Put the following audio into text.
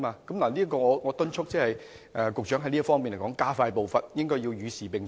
我在此敦促局長在這方面加快步伐，與時並進。